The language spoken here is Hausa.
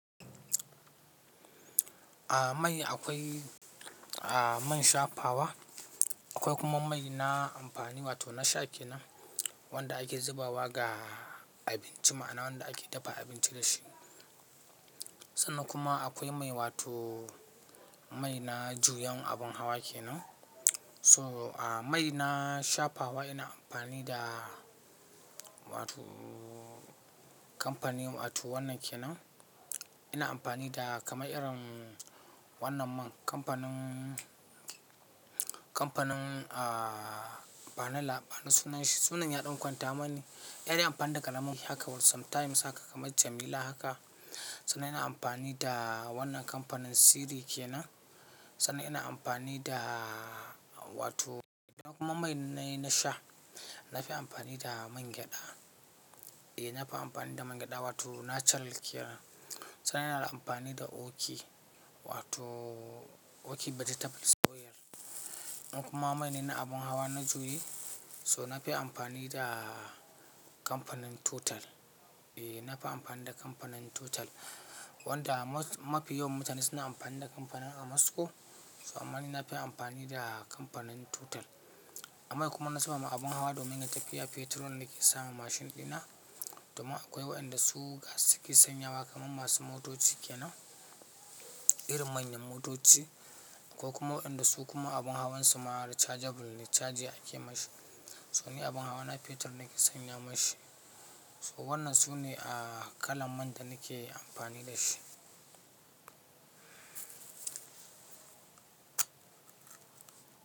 A mai akwai, a man shafawa akwai kuma mai na amfani wato na sha ke nan wanda ake zubawa ga abinci ma na wanda ake dafa abinci dashi. Sannan kuma akwai mai wato mai na juyan abin hawa ke nan. So a mai na shafawa ina amfani da wato kampani wato wannan ke nan ina amfani da kama irin wannan man kampanin, kampanin ah Panel ba na sunan shi sunan yaɗon kwanta mane. Irin amfani da kalan man haka sometimes haka kamar jamila haka. Sannan ina amfani da wannan kampanin Siri ke nan sannan ina amfani da wato idan kuma mai na sha na fi amfani da mangyaɗa. Eh na fi amfani da mangyaɗa wato na charal ke nan. Sannan ina da amfani da Oki wato Oki battery table soyar. In kuma mai na abin hawa na juyi so na fi amfani da kampanin Total. Eh na fi amfani da kampanin Total wanda mafi yawan mutane suna amfani da kampanin Amasco so amanina fi amfani da kampanin Total. A mai kuma na saba ma abin hawa domin ya taƙiya fetur ne ke sama mashin dina. Domin akwai waɗanda su gas suke sanya wa kaman masu motoci ke nan irin manyan motoci ko kuma waɗanda su kuma abin hawansu ma da chargeable ne charger ake mashi. So ni abin hawa na fetur nake sanya mashi. So wannan su ne ah kalan man da nake amfani da shi.